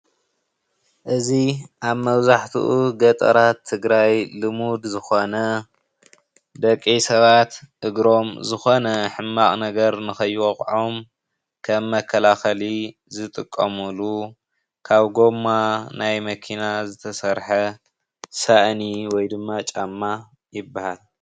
እዚ ኣብ መብዛሕቲኡ ገጠራት ትግራይ ልሙድ ዝኾነ ደቂ ሰባት እግሮም ዝኾነ ሕማቅ ነገር ከይዎግኦም መከላከሊ ዝጥቀምሉ ካብ ጎማ ናይ መኪና ዝተሰረሐ ሳእኒ ወይ ድማ ጫማ ይበሃል፡፡